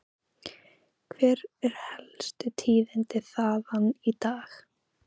Hver eru helstu tíðindi þaðan í dag?